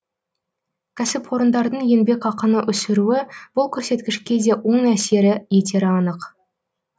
кәсіпорындардың еңбекақыны өсіруі бұл көрсеткішке де оң әсер етері анық